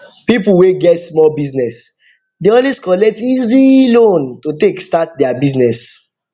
people wey get small business dey always collect easy loan to take start their business